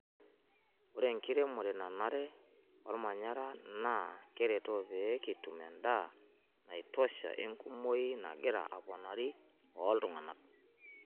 Ore enkiromore nanare olmanyara naa keretoo pee kitum endaa naitosha enkumoki nagira aponari ooltung'ana.